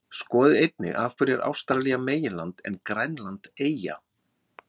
Skoðið einnig: Af hverju er Ástralía meginland en Grænland eyja?